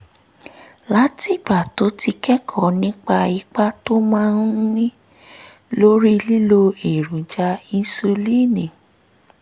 látìgbà um tó ti kẹ́kọ̀ọ́ nípa ipa tó máa ń ní lórí lílo èròjà insulíìnì